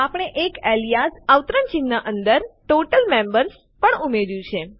આપણે એક એલીયાઝ ઉપનામ ટોટલ મેમ્બર્સ પણ ઉમેર્યું છે